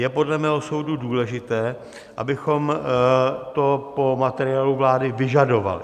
Je podle mého soudu důležité, abychom to po materiálu vlády vyžadovali.